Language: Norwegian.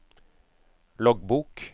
loggbok